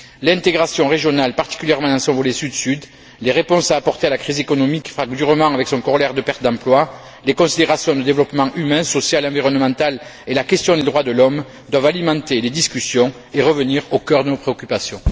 L'intégration régionale, particulièrement dans son volet Sud Sud, les réponses à apporter à la crise économique qui frappe durement avec son corollaire de pertes d'emplois, les considérations de développement humain, social et environnemental et la question des droits de l'homme doivent alimenter les discussions et revenir au cœur de nos préoccupations.